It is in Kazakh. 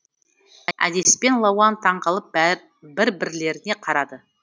әдеспен лауан таңғалып бір бірлеріне қарады